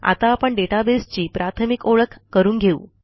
आता आपण डेटाबेस ची प्राथमिक ओळख करून घेऊ